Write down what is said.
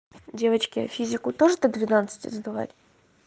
девочки а физику тоже до двенадцати сдавать